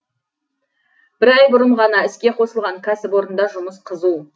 бір ай бұрын ғана іске қосылған кәсіпорында жұмыс қызу